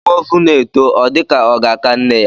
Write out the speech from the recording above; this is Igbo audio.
Nwa ovu na-eto, ọ dịka ka ọ ga-aka nne ya.